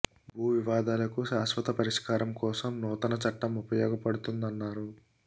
భూ వివాదాలకు శాశ్వత పరిష్కా రం కోసం నూతన చట్టం ఉపయోగపడుతున్నారు